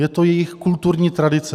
Je to jejich kulturní tradice.